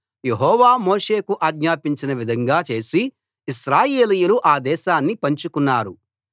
యెహోవా మోషేకు ఆజ్ఞాపించిన విధంగా చేసి ఇశ్రాయేలీయులు ఆ దేశాన్ని పంచుకున్నారు